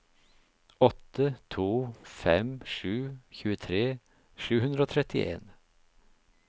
åtte to fem sju tjuetre sju hundre og trettien